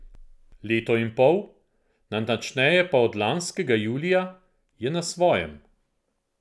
Leto in pol, natančneje pa od lanskega julija, je na svojem.